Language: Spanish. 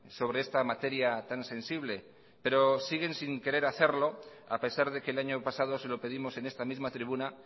sobre esta materia tan sensible pero siguen sin querer hacerlo a pesar de que el año pasado se lo pedimos en esta misma tribuna